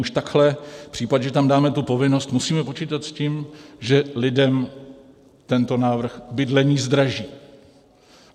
Už takhle v případě, že tam dáme tu povinnost, musíme počítat s tím, že lidem tento návrh bydlení zdraží.